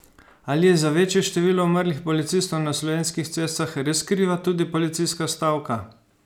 Ali je za večje število umrlih policistov na slovenskih cestah res kriva tudi policijska stavka?